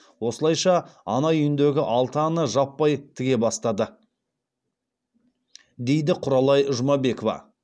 осылайша ана үйіндегі алты ана жаппай тіге бастады дейді құралай жұмабекова